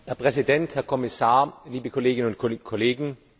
Herr Präsident, Herr Kommissar, liebe Kolleginnen und Kollegen!